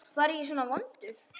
Var ég svona vondur?